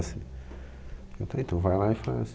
Eu falei, então vai lá e faz.